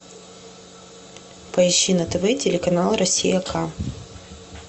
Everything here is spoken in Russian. поищи на тв телеканал россия к